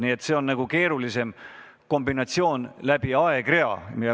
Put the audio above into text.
Nii et see on keerulisem kombinatsioon, mis peab silmas ka aegrida.